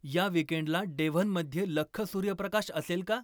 या वीकेंडला डेव्हनमध्ये लख्ख सूर्यप्रकाश असेल का